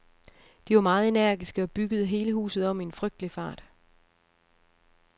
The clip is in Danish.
De var meget energiske og byggede hele huset om i en frygtelig fart.